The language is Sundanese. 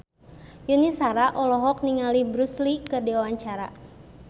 Yuni Shara olohok ningali Bruce Lee keur diwawancara